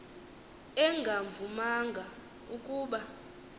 engavu manga ukuba